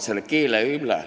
– selle keele üle.